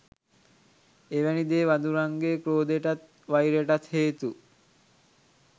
එවැනි දෑ වඳුරන්ගේ ක්‍රෝධයටත් වෛරයටත් හේතු